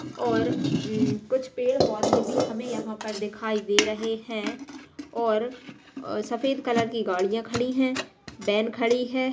और उम कुछ पेड़ पौधे भी हमे यहाँ पर दिखाई दे रहे हैं और अ सफ़ेद कलर की गाड़िया खड़ी हैं वैन खड़ी है।